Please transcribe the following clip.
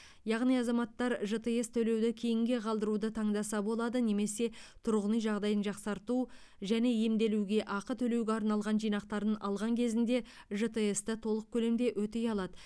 яғни азаматтар жтс төлеуді кейінге қалдыруды таңдаса болады немесе тұрғын үй жағдайын жақсарту және емделуге ақы төлеуге арналған жинақтарын алған кезінде жтс ты толық көлемде өтей алады